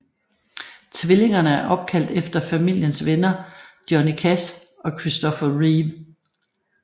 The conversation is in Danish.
Tvillingerne er opkaldt efter familiens venner Johnny Cash og Christopher Reeve